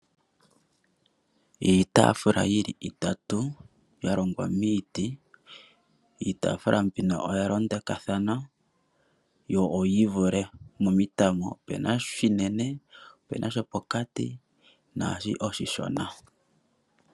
Iitafula yili itatu yalongwa miiti. Iitafula mbino oya londekwa thana yo oyii vule momitango , opena oshinene, opena shapokati naashi oshishona.